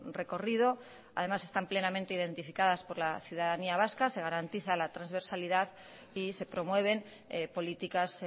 recorrido y además están plenamente identificadas por la ciudadanía vasca se garantiza la transversalidad y se promueven políticas